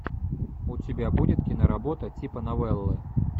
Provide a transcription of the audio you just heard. у тебя будет киноработа типа новеллы